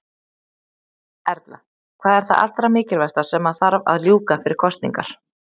Erla: Hvað er það allra mikilvægasta sem að þarf að ljúka fyrir kosningar?